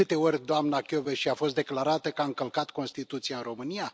De câte ori doamna Kövesi a fost declarată că a încălcat Constituția în România?